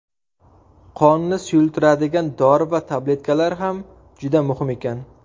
Qonni suyultiradigan dori va tabletkalar ham juda muhim ekan.